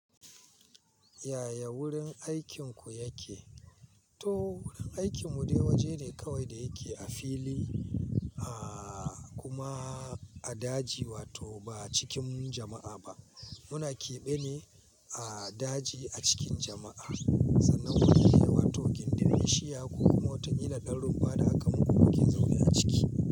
Yaya wurin aikinku yake? To wurin aikin mu dai waje ne kawai da yake a fili, a kuma a daji wato ba cikin jama'a ba. Muna keɓe ne a daji a cikin jama'a. Sannan wurin yayi wato gindin bishiya koku ma wata kila ɗan runfa kaman waken zobe a ciki.